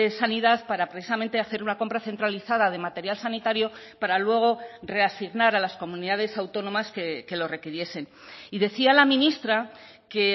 sanidad para precisamente hacer una compra centralizada de material sanitario para luego reasignar a las comunidades autónomas que lo requiriesen y decía la ministra que